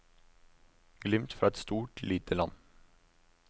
Glimt fra et stort lite land.